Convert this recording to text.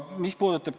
Aitäh!